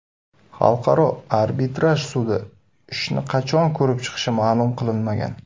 Xalqaro Arbitraj Sudi ishni qachon ko‘rib chiqishi ma’lum qilinmagan.